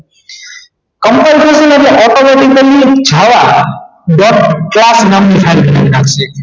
compine કરવું ઍટલે આપણે automatically એની છાયા નામની file બનાવી નાખશે